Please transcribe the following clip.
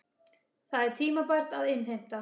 Það er tímabært að innheimta.